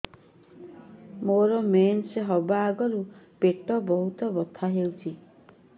ମୋର ମେନ୍ସେସ ହବା ଆଗରୁ ପେଟ ବହୁତ ବଥା ହଉଚି